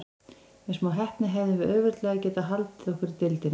Með smá heppni hefðum við auðveldlega getað haldið okkur í deildinni.